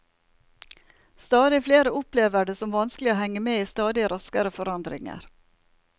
Stadig flere opplever det som vanskelig å henge med i stadig raskere forandringer.